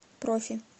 профи